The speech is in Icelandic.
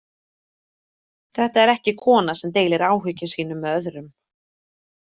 Þetta er ekki kona sem deilir áhyggjum sínum með öðrum.